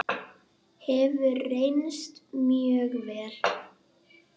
Hefur reynst mjög vel.